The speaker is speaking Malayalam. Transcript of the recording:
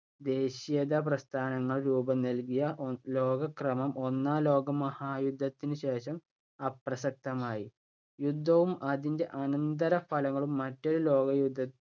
ദേശീയതാ പ്രസ്ഥാനങ്ങളും രൂപം നൽകിയ ലോകക്രമം ഒന്നാം ലോകമഹായുദ്ധത്തിനുശേഷം അപ്രസക്തമായി. യുദ്ധവും അതിന്‍റെ അനന്തരഫലങ്ങളും മറ്റൊരു ലോകയുദ്ധത്ത